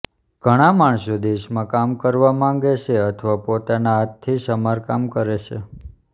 ઘણાં માણસો દેશમાં કામ કરવા માગે છે અથવા પોતાના હાથથી સમારકામ કરે છે